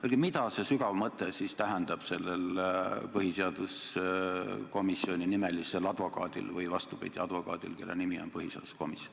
Öelge, mida see sügav mõte siis tähendab sellel põhiseaduskomisjoninimelisel advokaadil või, vastupidi, advokaadil, kelle nimi on põhiseaduskomisjon.